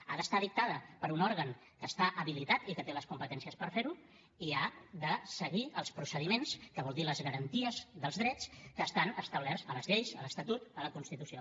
ha d’estar dictada per un òrgan que està habilitat i que té les competències per fer ho i ha de seguir els procediments que vol dir les garanties dels drets que estan establerts a les lleis a l’estatut a la constitució